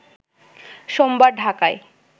সোমবার ঢাকায়